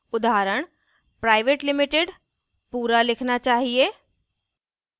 उदाहरण: private limited पूरा लिखना चाहिए